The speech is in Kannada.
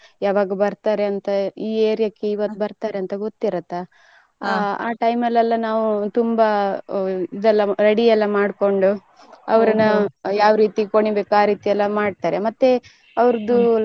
ಯಾವಾಗ ಬರ್ತಾರೆ ಅಂತ ಅಂದ್ರೆ ಈ area ಕ್ಕೆ ಇವತ್ತು ಬರ್ತಾರೆ ಅಂತ ಗೊತ್ತಿರುತ್ತ ಆ time ಅಲ್ಲಿ ತುಂಬಾ ಇದೆಲ್ಲ ready ಎಲ್ಲ ಮಾಡ್ಕೊಂಡು ಅವರನ್ನ ಯಾವ್ ರೀತಿ ಕುಣಿಬೇಕು ಆ ರೀತಿ ಮಾಡ್ತಾರೆ ಮತ್ತೆ ಅವರದ್ದು.